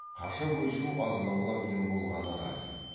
қаша көшу азынаулақ ем болғаны рас